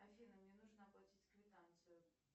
афина мне нужно оплатить квитанцию